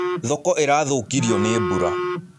Thoko irathũkirio nĩ mbura.